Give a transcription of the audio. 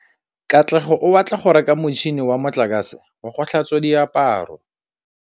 Katlego o batla go reka motšhine wa motlakase wa go tlhatswa diaparo.